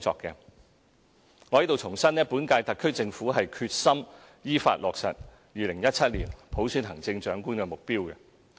我在此重申本屆特區政府是決心依法落實2017年普選行政長官的目標。